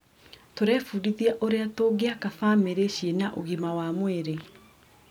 Tũrebundithia ũrĩa tũngĩaka bamĩrĩ cina ũgima wa mwĩrĩ.